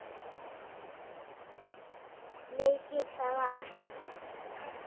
Sleikir það af.